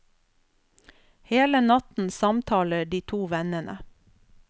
Hele natten samtaler de to vennene.